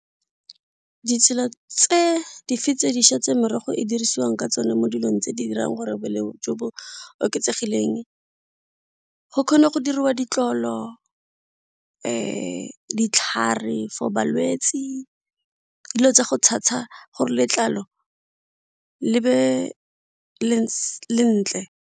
Ditsela tse dife tse dišwa tse merogo e e dirisiwang ka tsone mo dilong tse di dirang gore boleng jo bo oketsegileng go kgona go diriwa ditlolo ditlhare for balwetsi, dilo tsa go tshasa gore letlalo le be lentle.